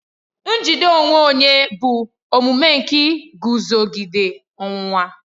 Njide onwe onye bụ omume nke iguzogide ọnwụnwa.